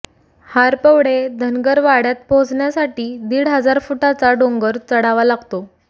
हारपवडे धनगर वाड्यात पोहचण्यासाठी दीड हजार फुटाचा डोंगर चढावा लागतो